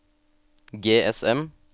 GSM